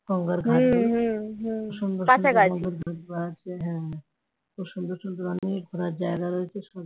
গঙ্গার ঘাটে সুন্দর সুন্দর সুন্দর সুন্দর অনেক ঘোরার জায়গা রয়েছে